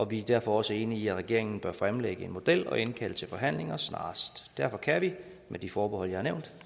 vi er derfor også enige i at regeringen bør fremlægge en model og indkalde til forhandlinger snarest derfor kan vi med de forbehold jeg har nævnt